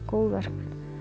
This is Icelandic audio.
góðverk